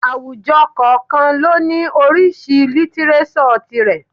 Àwùjọ kọ̀ọ̀kan ni ó ní oríṣìí lítíréṣọ̀ tirẹ̀